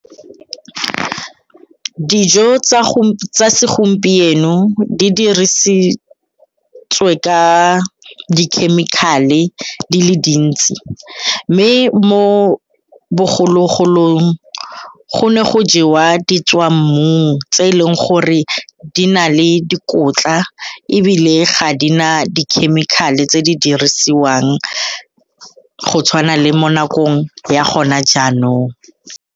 Dijo tsa segompieno di dirisetswe ka di-chemical-e di le dintsi mme mo bogologolong go ne go jewa ditswammung tse e leng gore di na le dikotla ebile ga di na di-chemical-e tse di dirisiwang go tshwana le mo nakong ya gona jaanong.